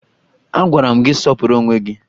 Agwara m gị sọpụrụ onwe gị!